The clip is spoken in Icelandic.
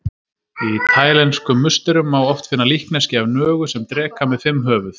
Í taílenskum musterum má oft finna líkneski af nögu sem dreka með fimm höfuð.